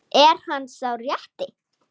Er hann sá rétti?